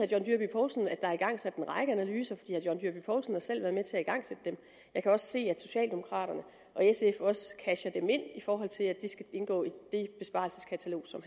john dyrby paulsen at der er igangsat en række analyser for herre john dyrby paulsen har selv været med til at igangsætte dem jeg kan se at socialdemokraterne og sf også casher dem ind i forhold til at de skal indgå i det besparelseskatalog som